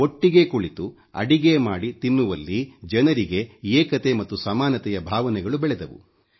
ಒಟ್ಟಿಗೆ ಕುಳಿತುಅಡಿಗೆ ಮಾಡಿ ತಿನ್ನುವಲ್ಲಿ ಜನರಿಗೆ ಏಕತೆ ಮತ್ತು ನಮಾನತೆಯ ಭಾವನೆಗಳು ಬೆಳೆದವು